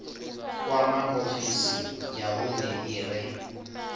kwama ofisi ya vhune ire